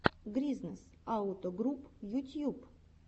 гризнэс ауто груп ютьюб